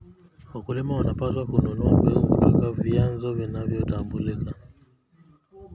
Wakulima wanapaswa kununua mbegu kutoka vyanzo vinavyotambulika.